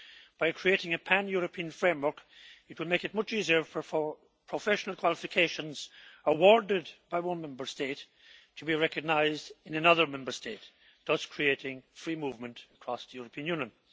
By creating a pan European framework, it will make it much easier for professional qualifications awarded by one Member State to be recognised in another Member State, thus creating free movement across the European Union.